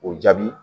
O jaabi